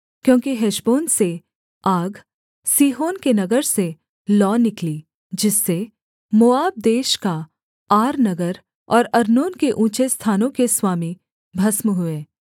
क्योंकि हेशबोन से आग सीहोन के नगर से लौ निकली जिससे मोआब देश का आर नगर और अर्नोन के ऊँचे स्थानों के स्वामी भस्म हुए